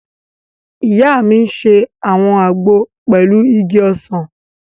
Ìyá mi n ṣe àwọn àgbo pẹ̀lú igi ọsàn